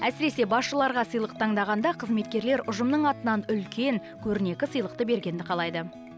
әсіресе басшыларға сыйлық таңдағанда қызметкерлер ұжымның атынан үлкен көрнекі сыйлықты бергенді қалайды